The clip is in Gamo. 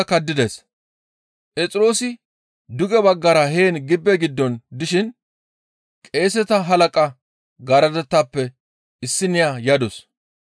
Phexroosi duge baggara heen gibbe giddon dishin qeeseta halaqa garadetappe issiniya yadus.